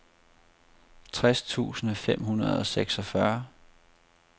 tres tusind fem hundrede og seksogfyrre